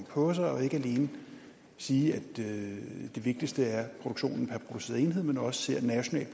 på sig og ikke alene sige at det vigtigste er produktionen per enhed men også se